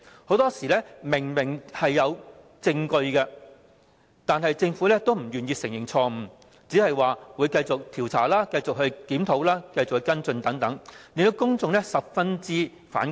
很多時明明已有證據，但政府仍不願意承認錯誤，只表示會繼續調查、檢討和跟進等，令公眾十分反感。